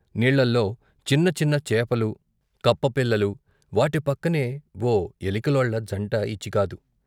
నీళ్ళలో చిన్న చిన్న చేపలు, కప్పపిల్లలు, వాటిపక్కనే ఓ ఎలికలోళ్ళ జంట ఇచిగాదు.